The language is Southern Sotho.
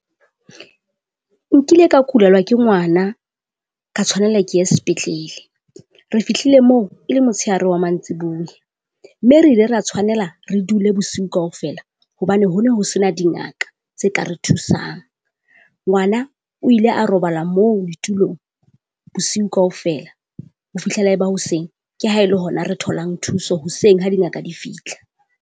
Nkile ka kulelwa ke ngwana, ka tshwanela ke ye sepetlele. Re fihlile moo e le motsheare wa mantsibuya, mme re ile ra tshwanela re dule bosiu kaofela hobane ho ne ho se na dingaka tse ka re thusang. Ngwana o ile a robala moo ditulong bosiu kaofela. Ho fihlela e ba hoseng, ke ha e le hona re tholang thuso hoseng ha dingaka di fitlha.